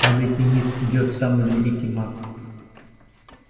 падайте низ идёт самый великий маг